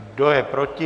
Kdo je proti?